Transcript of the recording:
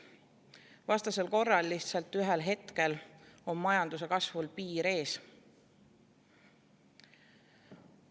Vastasel korral on ühel hetkel majanduse kasvul lihtsalt piir ees.